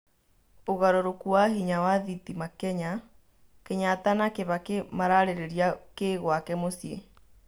ũgarũrũku wa hinya wa thitima Kenya' Kenyatta na kibaki mararĩrĩria kĩ gwake muciĩ?